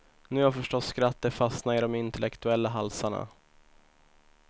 Nu har förstås skrattet fastnat i de intellektuella halsarna.